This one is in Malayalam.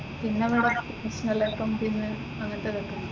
പിന്നെന്താ അങ്ങനത്തെ ഒക്കെ ഉണ്ട്.